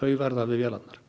verða við vélarnar